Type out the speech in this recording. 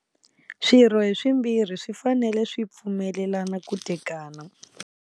Swirho hi swimbirhi swi fanele swi pfumelelana ku tekana.